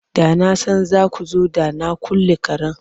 Da na san za ku zo da na kulle karen.